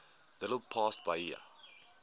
little past bahia